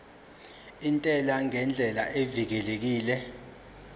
intela ngendlela evikelekile